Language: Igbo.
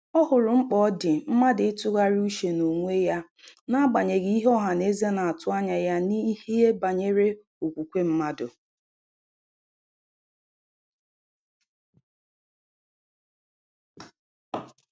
Ọ hụrụ mkpa ọ dị mmadụ ị tụgharịa uche na onwe uche na onwe ya na agbanyeghị ihe ọhaneze na atụ anya ya n'ihe banyere okwukwe mmadụ.